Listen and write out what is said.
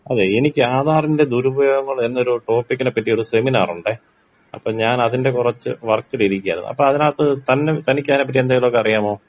അതേയ് എനിക്ക് ആധാറിന്റെ ദുരുപയോഗങ്ങൾ എന്നൊരു ടോപ്പിക്കിനെ പറ്റി ഒരു സെമിനാറുണ്ടെ അപ്പൊ ഞാൻ അതിന്റെ കൊറച്ച് വർക്കിലിരിക്കായിരുന്നു അപ്പൊ അതിനകത്ത് തന്ന് തനിക്ക് അതിനെ പറ്റി എന്തെങ്കിലും അറിയാമോ?